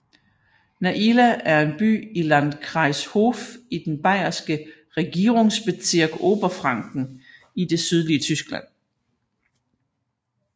Naila er en by i Landkreis Hof i den bayerske regierungsbezirk Oberfranken i det sydlige Tyskland